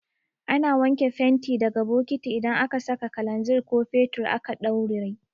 Ana wanke fenti daga bokati idan aka saka kalanzir ko fetur aka ɗauraye